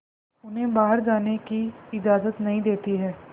उन्हें बाहर जाने की इजाज़त नहीं देती है